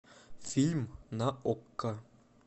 фильм на окко